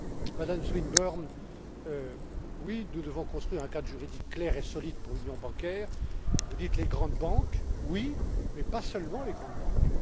À Mme Swinburne oui, nous devons construire un cadre juridique clair et solide pour l'union bancaire. Vous parlez des grandes banques, certes, mais il n'y a pas seulement des grandes banques.